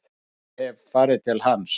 Ég hef farið til hans.